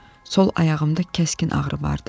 Sol ayağımda kəskin ağrı vardı.